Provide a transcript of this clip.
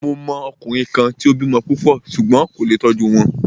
Mo mọ ọkùnrin kan tí o bímọ púpọ̀ ṣùgbón kò lé tó tọ́jú wọn.